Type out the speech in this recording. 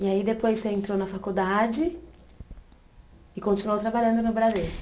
E aí, depois, você entrou na faculdade e continuou trabalhando no Bradesco?